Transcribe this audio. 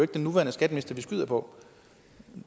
den nuværende skatteminister vi skyder på